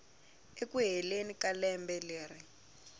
eku heleni ka lembe leri